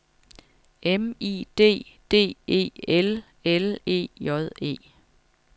M I D D E L L E J E